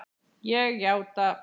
Ég játa.